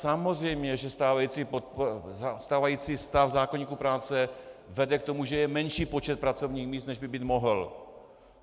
Samozřejmě že stávající stav zákoníku práce vede k tomu, že je menší počet pracovních míst, než by být mohl.